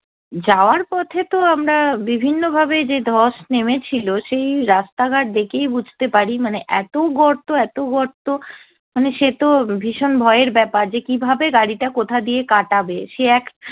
যাওয়ার পথে তো আমরা বিভিন্ন ভাবে যে ধস নেমেছিলো সেই রাস্তা ঘাট দেখেই বুঝতে পারি মানে এতো গর্ত এতো গর্ত মানে সে তো ভীষণ ভয়ের ব্যপার যে কীভাবে গাড়িটা কোথা দিয়ে কাটাবে, সে এক